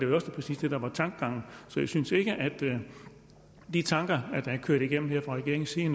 jo præcis det der er tankegangen så jeg synes ikke at de tanker der er kørt igennem her fra regeringens side